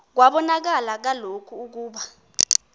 kwabonakala kaloku ukuba